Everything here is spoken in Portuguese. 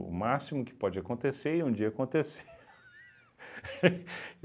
O máximo que pode acontecer e um dia aconteceu